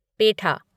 पेठा